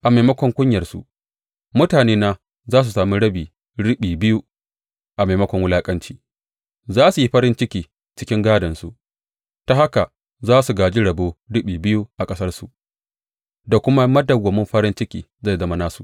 A maimakon kunyarsu mutanena za su sami rabi riɓi biyu, a maimakon wulaƙanci za su yi farin ciki cikin gādonsu; ta haka za su gāji rabo riɓi biyu a ƙasarsu, da kuma madawwamin farin ciki zai zama nasu.